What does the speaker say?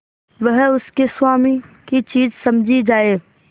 वह उसके स्वामी की चीज समझी जाए